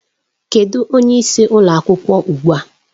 Kedụ onye isi ụlọ akwụkwọ ugbu a?